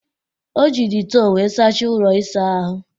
O ji detol wee sachaa ụlọ ịsa ahụ